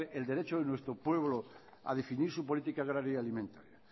negar el derecho de nuestro pueblo a decidir su política agraria alimentaria